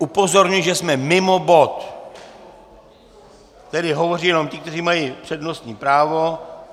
Upozorňuji, že jsme mimo bod, tedy hovoří jenom ti, kteří mají přednostní právo.